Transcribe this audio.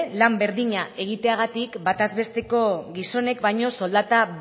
lan berdina egiteagatik batez besteko gizonek baino soldata